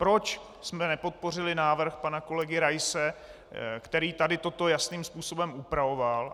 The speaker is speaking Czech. Proč jsme nepodpořili návrh pana kolegy Raise, který tady toto jasným způsobem upravoval.